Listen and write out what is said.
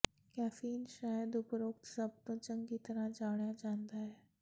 caffeine ਸ਼ਾਇਦ ਉਪਰੋਕਤ ਸਭ ਤੋਂ ਚੰਗੀ ਤਰ੍ਹਾਂ ਜਾਣਿਆ ਜਾਂਦਾ ਹੈ